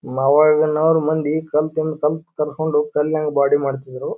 ಮಾವ್ ಆಗಿನವರ್ ಮಂದಿ ಕಲತಿನ್ ಕಲ್ತ್ ಕರ್ಕೊಂಡ್ ಕಲ್ನಂಗ್ ಬೊಡಿ ಮಾಡ್ತಿದ್ರು --